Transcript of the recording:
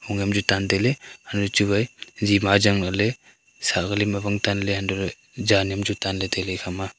vongam chu tan tailey hainu chuwai huwa jima ajang lahley sakali ma vong tanley hantoley zan am chu tanley ekhama.